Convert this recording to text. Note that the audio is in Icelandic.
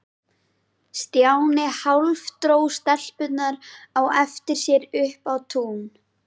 Stjáni hálfdró stelpurnar á eftir sér upp á tún.